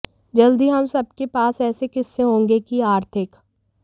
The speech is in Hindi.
जल्दी ही हम सब के पास ऐसे किस्से होंगे कि आर्थिक